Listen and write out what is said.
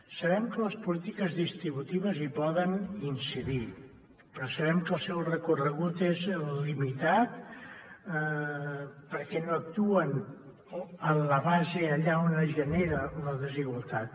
sabem que les polítiques distributives hi poden incidir però sabem que el seu recorregut és limitat per què no actuen en la base allà on es genera la desigualtat